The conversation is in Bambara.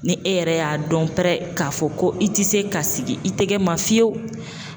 Ni e yɛrɛ y'a dɔn pɛrɛ k'a fɔ ko i tɛ se ka sigi i tɛgɛ ma fiyewu